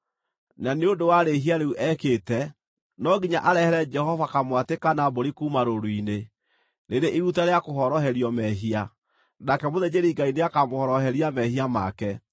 na nĩ ũndũ wa rĩĩhia rĩu ekĩte, no nginya arehere Jehova kamwatĩ kana mbũri kuuma rũũru-inĩ, rĩrĩ iruta rĩa kũhoroherio mehia; nake mũthĩnjĩri-Ngai nĩakamũhoroheria mehia make.